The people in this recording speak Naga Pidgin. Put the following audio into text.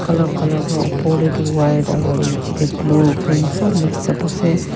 opor teh duh white aro niche deh blue green sob mix up ase.